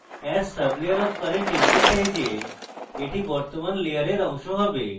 as sublayer of current ইঙ্গিত দেয় যে এটি বর্তমান layer অংশ হবে